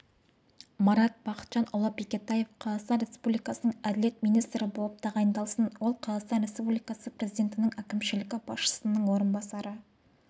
марат бақытжанұлы бекетаев қазақстан республикасының әділет министрі болып тағайындалсын ол қазақстан республикасы президентінің әкімшілігі басшысының орынбасары